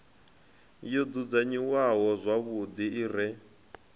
yo dzudzanyiwaho zwavhuḓi i re